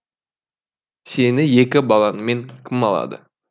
сені екі балаңмен кім алады